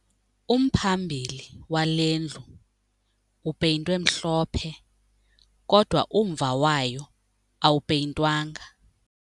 Umphambili wale ndlu upeyintwe mhlophe kodwa umva wayo awupeyintwanga.